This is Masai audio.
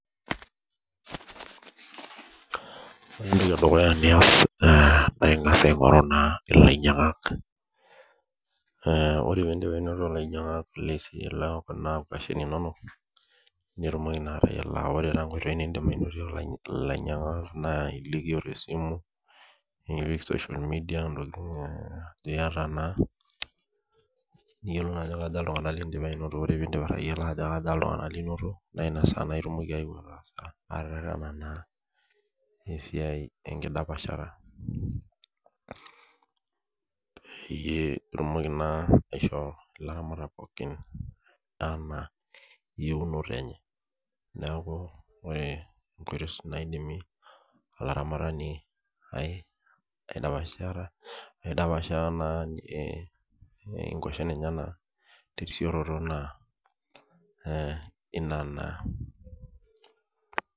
Ore entoki edukuya niaas naa Inga's aigoruu naa ilainyangak ,ee ore piidip aingorru ilainyangak nilo aingorru mashinini inonok piitumoki atayiolo, aa kore taa inkoitoii nidim anoto ilainyangak naa idim nipik social media tinoyata naa niyiolou ajo kaja iltungana linoto naa ina saa itumoki anoto esiaai enkodspashata peyiee itumoki aishoo olaramatak pookin eyieunoyo enye neeku kore kointoi naadum olaramatani aidapashata naa inkwashen enyena tesiiooroto naa inana .